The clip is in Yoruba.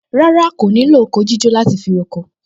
Rárá, kò ní lo oko jíjó láti fi roko